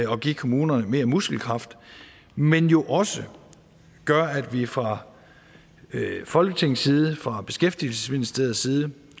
give kommunerne mere muskelkraft men jo også gør at vi fra folketingets side fra beskæftigelsesministeriets side